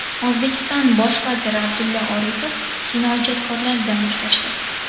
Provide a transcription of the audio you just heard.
O‘zbekiston bosh vaziri Abdulla Aripov kinoijodkorlar bilan uchrashdi.